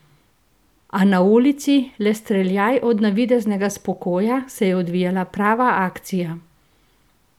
A na ulici, le streljaj od navideznega spokoja, se je odvijala prava akcija.